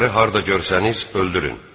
ları harda görsəniz öldürün.